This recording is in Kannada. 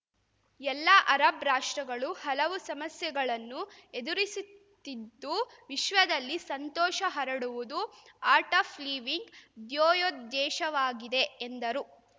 ಎಲ್ಲ ಅರಬ್‌ ರಾಷ್ಟ್ರಗಳು ಹಲವು ಸಮಸ್ಯೆಗಳನ್ನು ಎದುರಿಸುತ್ತಿದ್ದು ವಿಶ್ವದಲ್ಲಿ ಸಂತೋಷ ಹರಡುವುದು ಆರ್ಟ್‌ ಆಫ್‌ ಲಿವಿಂಗ್‌ ಧ್ಯೇಯೋಧ್ಯೇಶವಾಗಿದೆ ಎಂದರು